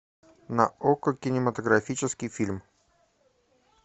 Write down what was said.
на окко кинематографический фильм